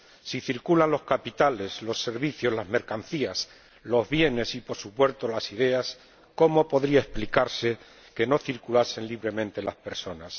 Si circulan los capitales, los servicios, las mercancías, los bienes y, por supuesto, las ideas, ¿cómo podría explicarse que no circulen libremente las personas?